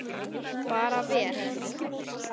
Bara vel.